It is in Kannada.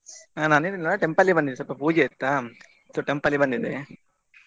ನಾನ್ ಏನಿಲ್ಲ temple ಗೆ ಬಂದಿದ್ದೆ ಸ್ವಲ್ಪ ಪೂಜೆ ಇತ್ತಾ so temple ಗೆ ಬಂದಿದ್ದೆ .